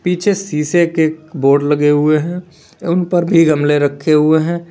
पीछे शीशे के बोर्ड लगे हुए हैं उन पर भी गमले रखे हुए हैं।